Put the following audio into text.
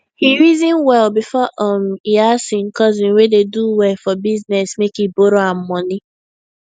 he reason well before um e ask him cousin wey dey do well for business make e borrow am money